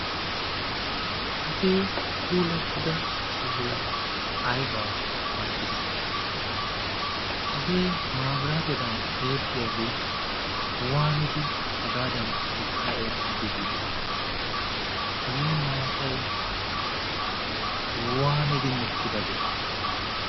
hagee puulattida sohoy aybaa qoncciss hagee maabiraatedan eexxiyaagee waanidi hagaadan hagadaa eexxidi biidi hagee maatay waanidi mokkidabee